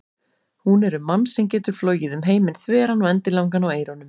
Hún er um mann sem getur flogið um heiminn þveran og endilangan á eyrunum.